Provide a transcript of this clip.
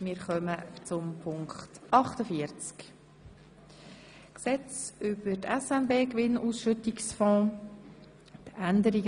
Wir kommen zur Änderung des Gesetzes über den SNB-Gewinnausschüttungsfonds.